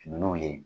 Nunnu ye